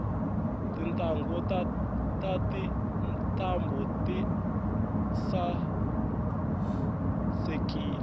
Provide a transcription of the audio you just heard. tintanghu ta tintambu tisaekile